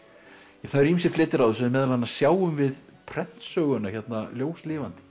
það eru ýmsir fletir á þessu meðal annars sjáum við prentsöguna hérna ljóslifandi